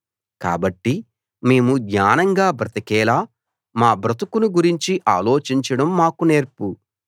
కాబట్టి మేము జ్ఞానంగా బ్రతికేలా మా బ్రతుకును గురించి ఆలోచించడం మాకు నేర్పు